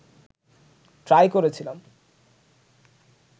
try করেছিলাম